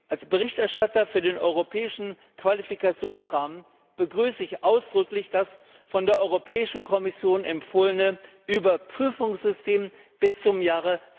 Als Berichterstatter für den Europäischen Qualifikationsrahmen begrüße ich ausdrücklich das von der Europäischen Kommission empfohlene Überprüfungssystem bis zum Jahr